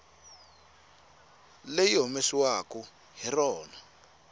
leri yi humesiwaku hi rona